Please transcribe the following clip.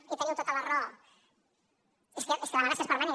i teniu tota la raó és que l’amenaça és permanent